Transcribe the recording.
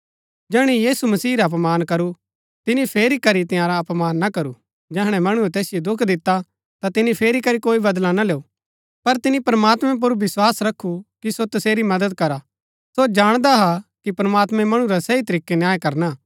जैहणै मणुऐ यीशु मसीह रा अपमान करू तिनी फेरी करी तंयारा अपमान ना करू जैहणै मणुऐ तैसिओ दुख दिता ता तिनी फेरी करी कोई बदला ना लैऊ पर तिनी प्रमात्मैं पुर विस्वास रखु कि सो तसेरी मदद करा सो जाणदा हा कि प्रमात्मैं मणु रा सही तरीकै न्याय करना हा